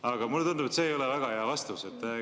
Aga mulle tundub, et see ei ole väga hea vastus.